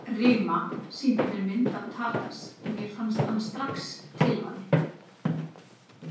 Rima sýndi mér myndir af Tadas og mér fannst hann strax tilvalinn.